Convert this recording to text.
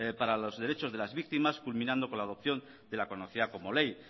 para los derechos de las víctimas culminando con la adopción de la conocida como ley